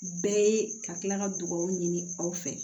Bɛɛ ye ka kila ka dugawu ɲini aw fɛ